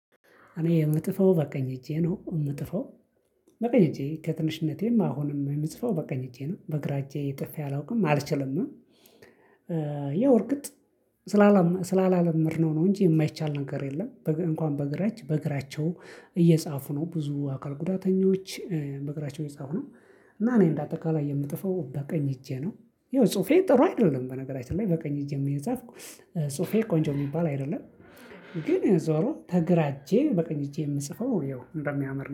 እኔ የምጥፈው በቀኝ እጄ ነው የምጥፈው በቀኝ እጄ ከትንሽነቴም አሁንም የምጽፈው በቀኝ እጄ ነው በግራ እጄ ጥፌ አላውቅም አልችልምም። ያው እርግጥ ስላላለመድነው ነው እንጂ የማይቻል ነገር የለም። እንኳን በግራእጅ በእግራቸው እየጻፉ ነው ብዙ አካል ጉዳተኞች በእግራቸው እየጻፉ ነው። እና እኔ እንደ አጠቃላይ የምጥፈው በቀኝ እጄ ነው። ይኸው ጽሁፌ ጥሩ አይደለም በነገራችን ላይ በቀኝ እጄም እየጻፍኩ ጽሁፌ ቆንጆ የሚባል አይደለም። ግን ዞሮ ተግራእጄ በቀኝ እጄ የምጽፈው እንደሚያምር ነው